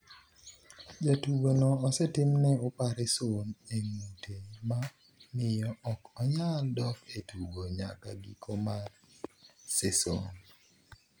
Jatugo no osetimne opareson e ng’ute, ma miyo ok onyal dok e tugo nyaka giko mar seson.